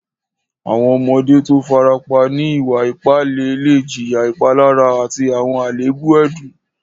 Àwọn ọmọdé tó o fàràpà ní ìwà-ìpà ìlẹ̀ lẹ̀ jìyà ìpàlárà àti àwọn alẹèbù ẹdùn.